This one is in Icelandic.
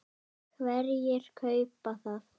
Hverjir kaupa það?